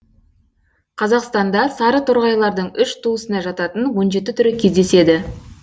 қазақстанда сарыторғайлардың үш туысына жататын он жеті түрі кездеседі